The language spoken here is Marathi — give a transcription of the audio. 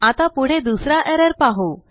आता पुढे दुसराएरर पाहू